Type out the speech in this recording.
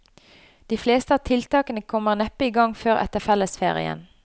De fleste av tiltakene kommer neppe i gang før etter fellesferien.